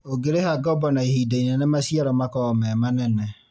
ũngĩrĩha ngoombo na ihinda inene maciaro makoragwo me manene